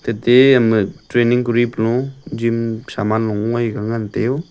tate ama training kori pu jim saman long ngoi ka ngan taiyo.